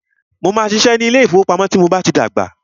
Mó máà ṣiṣẹ́ ní ilé ìfọwọ́pamo tí mo bá tí dàgbà.